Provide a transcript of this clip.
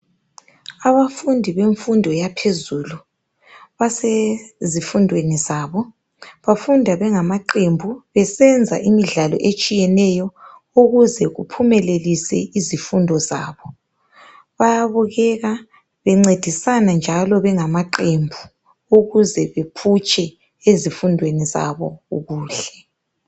Abafundi bemfundo yaphezulu basezifundweni zabo. Bafunda bengamaqembu besenza imidlalo etshiyeneyo ukuze kuphumelelise izifundo zabo. Bayabukeka bencedisana njalo bengamaqembu ukuze bephutshe ezifundweni zabo kuhle.